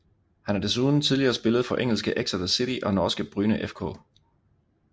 Han har desuden tidligere spillet for engelske Exeter City og norske Bryne FK